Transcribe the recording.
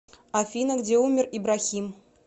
афина где умер ибрахим